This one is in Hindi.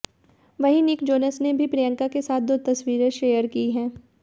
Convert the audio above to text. वहीं निक जोनस ने भी प्रियंका के साथ दो तस्वीरें शेयर की हैं